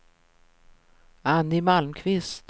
Annie Malmqvist